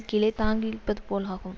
கீழே தங்கியிருப்பது போலாகும்